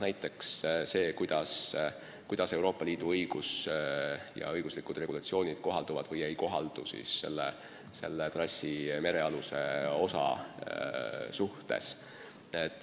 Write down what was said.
Näiteks see, kas ja kui, siis mil moel Euroopa Liidu õiguslikud regulatsioonid käivad ka trassi merealuse osa kohta.